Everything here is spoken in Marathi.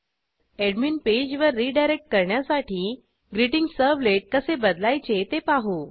एडमिन पेज वर रिडायरेक्ट करण्यासाठी ग्रीटिंगसर्वलेट कसे बदलायचे ते पाहू